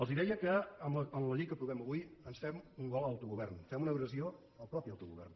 els deia que amb la llei que aprovem avui ens fem un gol a l’autogovern fem una agressió al propi autogovern